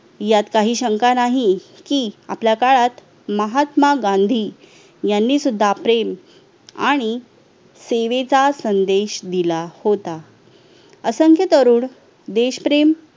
यात काही शंका नाही की आपल्या काळात महात्मा गांधी यांनी सुद्धा प्रेम आणि सेवेचा संदेश दिला होता असंख्य तरुण देशप्रेम